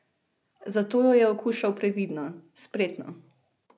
Zato jo je okušal previdno, spretno.